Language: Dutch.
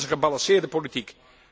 Dat is gebalanceerde politiek.